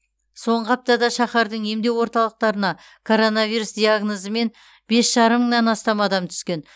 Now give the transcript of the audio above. соңғы аптада шаһардың емдеу орталықтарына коронавирус диагнозымен бес жарым мыңнан астам адам түскен